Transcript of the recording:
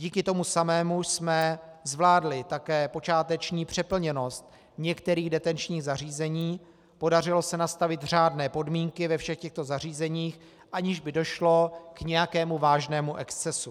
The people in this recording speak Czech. Díky tomu samému jsme zvládli také počáteční přeplněnost některých detenčních zařízení, podařilo se nastavit řádné podmínky ve všech těchto zařízeních, aniž by došlo k nějakému vážnému excesu.